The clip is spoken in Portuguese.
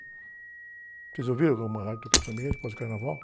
Vocês ouviram alguma rádio tocando samba enredo após o carnaval?